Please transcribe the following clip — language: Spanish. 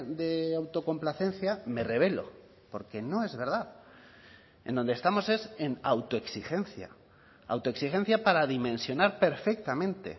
de autocomplacencia me rebelo porque no es verdad en donde estamos es en autoexigencia autoexigencia para dimensionar perfectamente